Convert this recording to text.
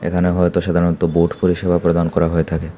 এখানে হয়তো সাধারণত বোট পরিষেবা প্রদান করা হয়ে থাকে।